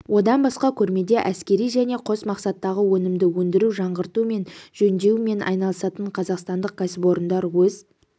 одан басқа көрмеде әскери және қос мақсаттағы өнімді өндіру жаңғырту және жөндеумен айналысатын қазақстандық кәсіпорындар өз